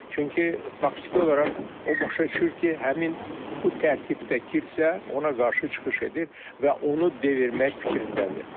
Çünki faktiki olaraq o başa düşür ki, həmin bu tərkibdə kilsə ona qarşı çıxış edir və onu devirmək fikrindədir.